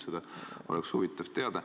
Seda oleks huvitav teada.